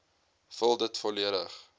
vul dit volledig